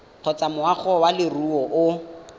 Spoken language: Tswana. kgotsa moagi wa leruri o